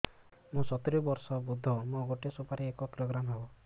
ମୁଁ ସତୂରୀ ବର୍ଷ ବୃଦ୍ଧ ମୋ ଗୋଟେ ସୁପାରି ଏକ କିଲୋଗ୍ରାମ ହେବ